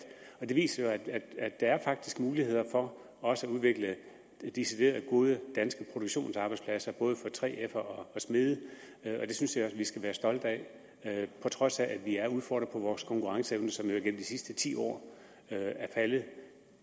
det viser jo at der faktisk er mulighed for også at udvikle decideret gode danske produktionsarbejdspladser både for 3fere og smede og det synes jeg vi skal være stolte af på trods af at vi er udfordret på vores konkurrenceevne som jo igennem de sidste ti år er faldet vi